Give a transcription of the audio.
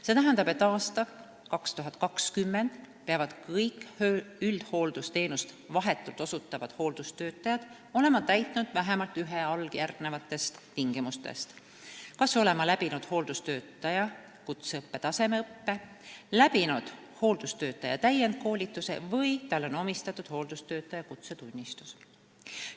See tähendab, et aastal 2020 peavad kõik üldhooldusteenust vahetult osutavad hooldustöötajad olema täitnud vähemalt ühe alljärgnevatest tingimustest: ta peab kas olema läbinud hooldustöötaja kutseõppe tasemeõppe või hooldustöötaja täienduskoolituse või on tal hooldustöötaja kutsetunnistus.